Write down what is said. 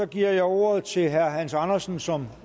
giver ordet til herre hans andersen som